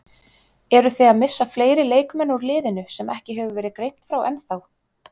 Eruð þið að missa fleiri leikmenn úr liðinu sem ekki hefur verið greint frá ennþá?